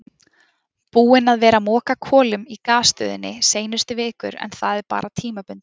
Búinn að vera að moka kolum í gasstöðinni seinustu vikur en það er bara tímabundið.